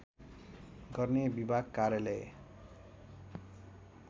गर्ने विभाग कार्यालय